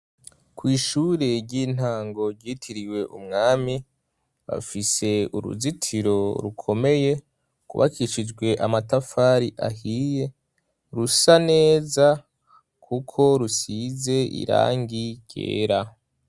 Ku ishure ry'intango ry'itiriwe Umwami, bafise uruzitiro rukomeye rwuubakishijwe amatafari ahiye, rusa neza kuko rusize irangi ryera.